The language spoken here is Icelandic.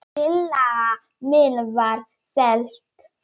Tillaga mín var felld.